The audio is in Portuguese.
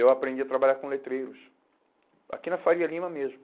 Eu aprendi a trabalhar com letreiros, aqui na Faria Lima mesmo.